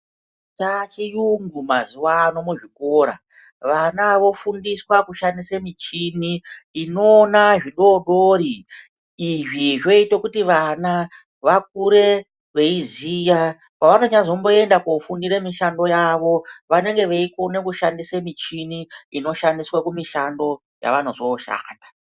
Chachiyungu mazuva ano muzvikora vana vofundiswa kushandiswa michini inoona zvidodori. Izvi zvoita kuti vana vakure veiziya pavanyazomboenda kofundira mishando yavo vanenge veikone kushandisa michini inoshandiswa kumushando yavanozoshanda.